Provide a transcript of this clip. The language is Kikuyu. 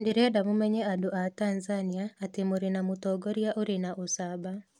"Ndĩrenda mũmenye andũ a Tanzania atĩ mũrĩ na mũtongoria ũrĩ na ũcamba.